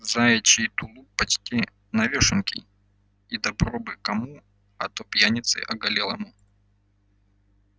заячий тулуп почти новёшенький и добро бы кому а то пьянице оголелому